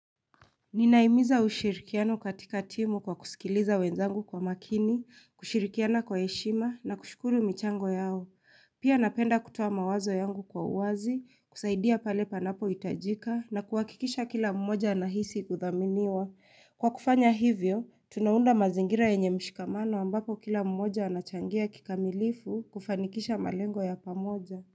Ninahimiza ushirikiano katika timu kwa kusikiliza wenzangu kwa makini, kushirikiana kwa heshima na kushukuru michango yao. Pia napenda kutoa mawazo yangu kwa uwazi, kusaidia pale panapo hitajika na kuhakikisha kila mmoja anahisi kudhaminiwa. Kwa kufanya hivyo, tunaunda mazingira yenye mshikamano ambapo kila mmoja anachangia kikamilifu kufanikisha malengo ya pamoja.